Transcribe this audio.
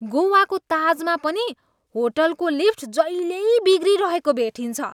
गोवाको ताजमा पनि होटलको लिफ्ट जहिल्यै बिग्रिरहेकै भेटिन्छ।